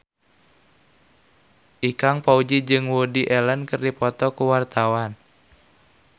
Ikang Fawzi jeung Woody Allen keur dipoto ku wartawan